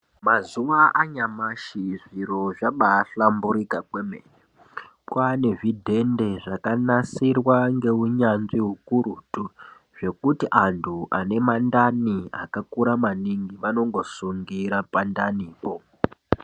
Mazuwa anyamashi zviro zvabahlamburika kwemene. Kwane zvidhende zvakanasirwa neunyanzvi ukurutu zvekuti antu ane mandani akakura maningi vanongosungira pandanipo.